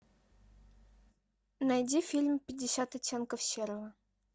найди фильм пятьдесят оттенков серого